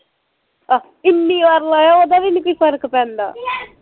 ਅਹੱ ਇੰਨੀ ਵਾਰ ਲਾਇਆ ਓਹਦਾ ਵੀ ਨੀ ਕੋਈ ਫਰਕ ਪੈਂਦਾ